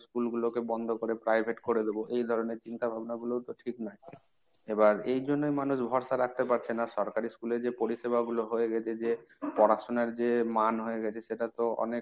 school গুলোকে বন্ধ করে private করে দেব। এই ধরনের চিন্তা ভাবনা গুলোও তো ঠিক নয়। এবার এই জন্যই মানুষ ভরসা রাখতে পারছে না সরকারি school এ যে পরিষেবা গুলো হয়ে গেছে যে পড়াশোনার যে মান হয়ে গেছে সেটা তো অনেক